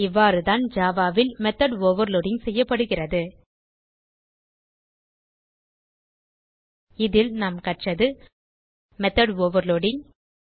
இவ்வாறுதான் ஜாவா ல் method overloading செய்யப்படுகிறது இதில் நாம் கற்றது மெத்தோட் ஓவர்லோடிங்